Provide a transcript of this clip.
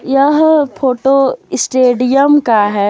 यह photo stadium का है।